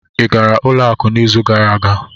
Ị gara ụlọ akụ n'izu gara aga?